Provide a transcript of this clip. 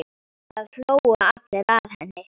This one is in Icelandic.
Það hlógu allir að henni.